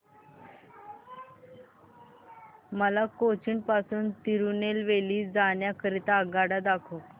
मला कोचीन पासून तिरूनेलवेली जाण्या करीता आगगाड्या दाखवा